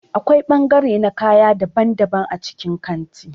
Akwai bangare na kaya daban-daban a cikin kanti.